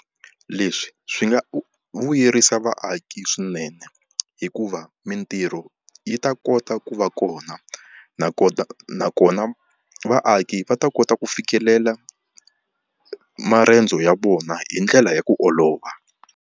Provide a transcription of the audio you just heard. Leswi swi nga vuyerisa vaaki swinene hikuva mintirho yi ta kota ku va kona, nakona nakona vaaki va ta kota ku fikelela marendzo ya vona hi ndlela ya ku olova.